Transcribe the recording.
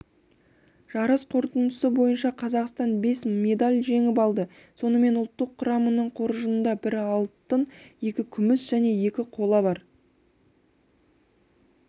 жарыс қорытындысы бойынша қазақстан бес медаль жеңіп алды сонымен ұлттық құраманың қоржынында бір алтын екі күміс және екі қола бар